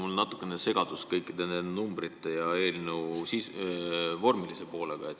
Ma olen natukene segaduses kõikide nende eelnõude numbrite ja selle eelnõu vormilise poole pärast.